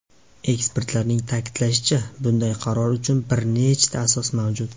Ekspertlarning ta’kidlashicha, bunday qaror uchun bir nechta asos mavjud.